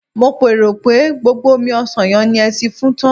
mo pero pe gbogbo omi osan yen ni e ti fun tan